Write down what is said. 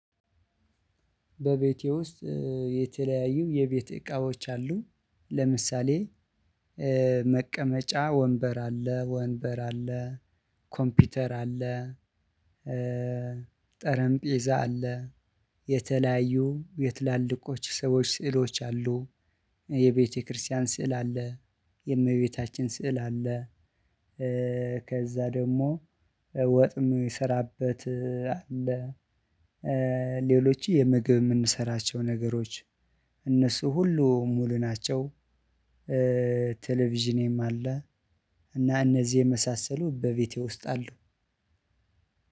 በቤቴ ውስጥ የተለያዩ የቤት እቃዎች አሉ። ለምሳሌ መቀመጫ ወንበር አለ ወንበር አለ፣ ኮምፒውተር አለ፣ ጠረንጴዛ አለ፣ የተለያዩ የትላልቆች ሰዎች ስዕሎች አሉ፣ የቤተክርስቲያን ስዕል አለ፣ የእመቤታችን ስዕል አለ፣ ከዛ ደግሞ ወጥ ምሰራበት አለ፣ ሌሎቹ የምግብ የምንሰራቸው ነገሮች፣ እነሱ ሁሉ ሙሉ ናቸው። ቴሌቪዥኔም አለ፣ እና እነዚህ የመሳሰሉ በቤቴ ውስጥ አሉ።